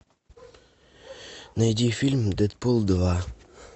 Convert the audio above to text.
найди фильм дэдпул два